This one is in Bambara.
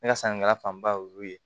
Ne ka sannikɛla fanba y'olu ye